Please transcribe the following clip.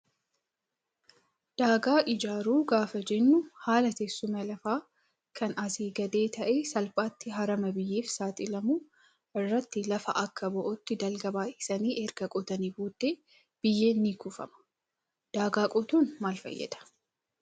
Daagaa ijaaruu gaafa jennu haala teessuma lafaa kan asii gadee ta'ee salphaatti harama biyyeef saaxilamu irratti lafa akka bo'ootti dalga baay'isanii erga qotanii booddee biyyeen ni kuufama. Daagaa qotuun maal fayyada?